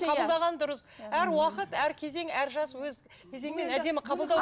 қабылдаған дұрыс әр уақыт әр кезең әр жас өз кезеңмен әдемі қабылдау